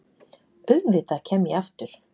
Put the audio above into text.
Auðvitað kem ég aftur.